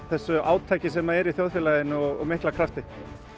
þessu átaki sem er almennt í þjóðfélaginu og mikla krafti